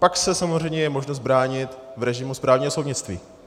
Pak je samozřejmě možnost se bránit v režimu správního soudnictví.